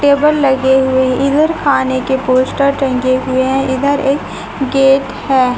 Table लगे हुई इधर खाने के पोस्टर टांगे हुए हैं इधर एक गेट हैं।